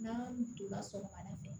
N'a donna sɔgɔmada fɛ